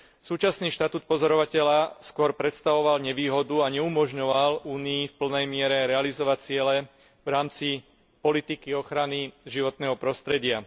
Súčasný štatút pozorovateľa skôr predstavoval nevýhodu a neumožňoval Únii v plnej miere realizovať ciele v rámci politiky ochrany životného prostredia.